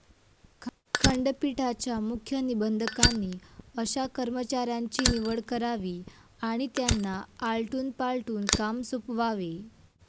खंडपीठाच्या मुख्य निबंधकांनी अशा कर्मचाऱ्यांची निवड करावी आणि त्यांना आलटून पालटून काम सोपवावे.